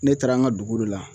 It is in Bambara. Ne taara an ka dugu la